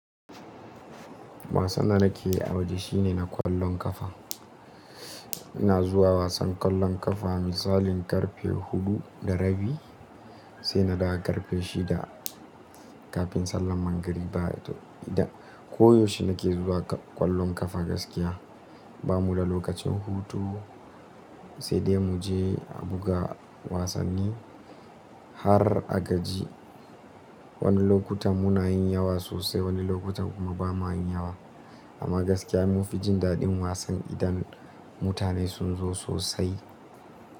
Wasan da nake a waje shine na ƙwallon ƙafa. Ina zuwa wasan ƙwallon ƙafa misalin karfe huɗu da rabi sai na dawo karfe shida kafin sallan magriba toh, da koyaushe nake zuwa ƙwallon ƙafa gaskiya. Ba mu da lokacin hutu sai dai mu je a buga wasanni har a gaji. Wani lokutan muna yin yawa sosai, wani lokutan kuma ba ma yin yawa. Amma gaskiya mun fi jin daɗin wasan idan mutane sun zo sosai.